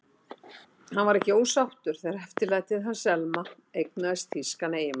Hann var því ekki ósáttur þegar eftirlætið hans, Selma, eignaðist þýskan eiginmann.